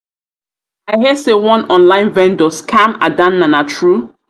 i hear say one online vendor scam adanna na true?